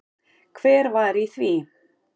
Hver var í því?